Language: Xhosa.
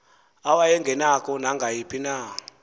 awayengenako nangayiphi na